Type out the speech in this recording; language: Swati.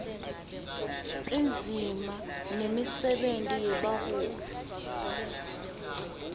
indzima nemisebenti yebaholi